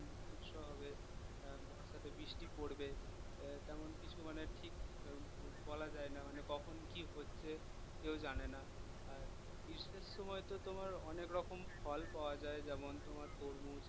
গ্রীষ্ম হবে আহ বর্ষাতে বৃষ্টি পড়বে আহ তেমন কিছু মানে ঠিক আহ বলা যায় না মানে কখন কি হচ্ছে কেউ জানে না আহ গ্রীষ্মের সময় তো তোমার অনেক রকম ফল পাওয়া যায় যেমন তোমার তরমুজ